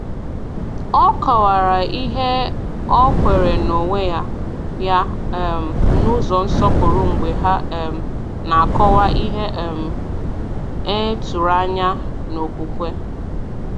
Ọ kọ̀wara ihe ọ kweere n’onwe ya ya um n’ụzọ nsọpụrụ mgbe ha um na-akọwa ihe um e tụrụ anya n’okwukwe.